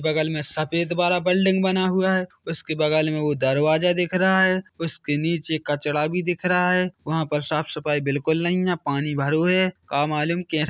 बगल में सफ़ेद वारा बिल्डिंग बना हुआ है उसके बगल में उ दरवाजा दिख रहा है उसके नीचे कचड़ा भी दिख रहा है वहा पर साफ सफाई बिलकुल नहीं है पानी भरु है का मालूम कैसे--